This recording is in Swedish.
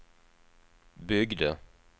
byggde